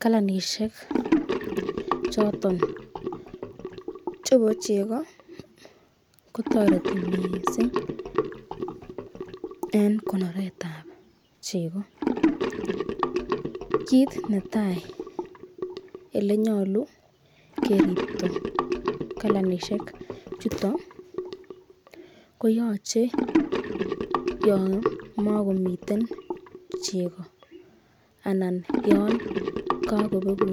Kalanishek choton chebo chego kotoreti mising en konoret ab chego. Kit netai ele nyolu keripto kalanishekk chuto ko yoche yon magomiten chego anan yan kagobegu